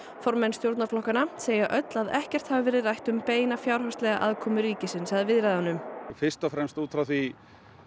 formenn stjórnarflokkanna segja öll að ekkert hafi verið rætt um beina fjárhagslega aðkomu ríkisins að viðræðunum fyrst og fremst út frá því